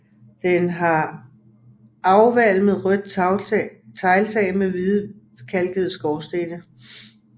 Den har afvalmet rødt tegltag med hvidkalkede skorstene